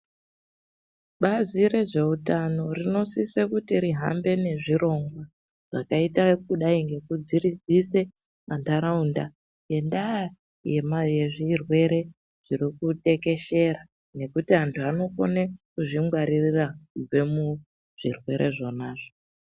Bazi rezveutano rinosise kuti rihambe nezviro zvakaita kudai nekudziridzise ntharaunda ngendaa yezvirwere zviri kutekeshera nekuti anthu anokone kuzvingwarira kubve muzvirwere zvonazvo.